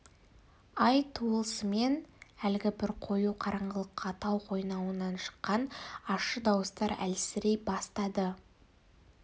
ай туысымен әлгі бір қою қараңғылықта тау қойнауынан шыққан ащы дауыстар әлсірей бастады